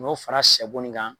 N'o fara sɛbo nin kan